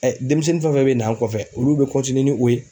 denmisɛnnin fɛn fɛn bɛ na an kɔfɛ olu bɛ ni o ye.